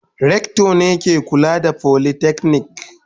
Rector ne ke kula da folytechnic.